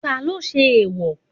Talo ṣe eèwò?